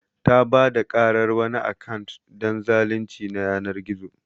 Ta Bada karar wani akant don zalunci na yanar gizo.